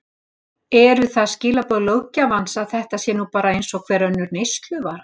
Eru það skilaboð löggjafans að þetta sé nú bara eins og hver önnur neysluvara?